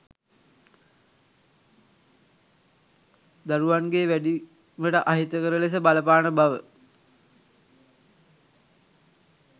දරුවන්ගේ වැඩීමට අහිතකර ලෙස බලපාන බව